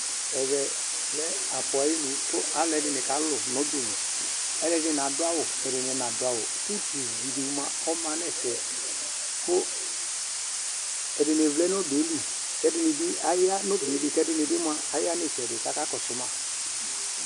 Ɛvɛ lɛ aƒu ayinu kalʊɛdini kalʊ nobeli Ɛdini adu awʊ, kɛdini nadu awʊ kutu guudi ɔma nɛfɛ Ɛdini vlɛ nobeli, kɛdi'ibi aya nu obeli kedi'ibi aya nitsɛdi kakzkɔsu ma